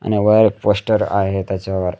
आणि बाहेर पोस्टर आहे त्याच्यावर--